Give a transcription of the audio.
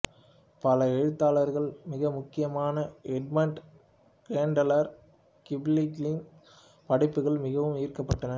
பல எழுத்தாளர்கள் மிக முக்கியமாக எட்மண்ட் கேண்ட்லர் கிப்லிங்கின் படைப்புகளால் மிகவும் ஈர்க்கப்பட்டனர்